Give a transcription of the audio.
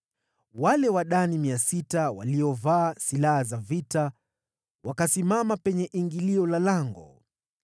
Wale Wadani 600, waliovaa silaha za vita, wakasimama penye ingilio la lango.